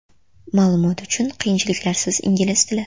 Ma’lumot uchun: qiyinchiliklarsiz ingliz tili .